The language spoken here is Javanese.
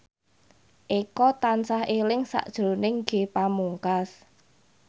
Eko tansah eling sakjroning Ge Pamungkas